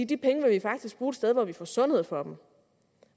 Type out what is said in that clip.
de penge vil vi faktisk bruge et sted hvor vi får sundhed for dem